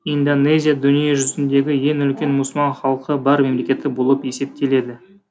индонезия дүниежүзіндегі ең үлкен мұсылман халқы бар мемлекеті болып есептеледі